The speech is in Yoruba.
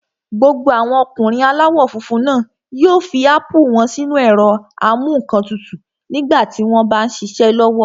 Gbogbo àwọn ọkùnrin aláwọ̀ funfun náà yóò fi ápù wọ́n sínu ẹ̀rọ-amúǹkantutù nígbà tí wọ́n m bá ṣiṣẹ́ lọ́wọ́